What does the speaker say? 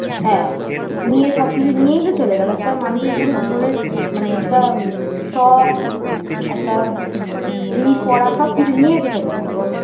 হ্যাঁ নিয়ে সবকিছু নিয়েই তো চলে গেল একটা মানুষের পুরো জীবনের মানে একটা উম শখ একটা উম জিনিস পড়া সবকিছু নিয়েই তো চলে গেল বলো